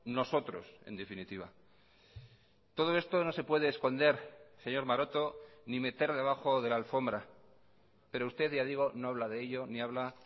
nosotros en definitiva todo esto no se puede esconder señor maroto ni meter debajo de la alfombra pero usted ya digo no habla de ello ni habla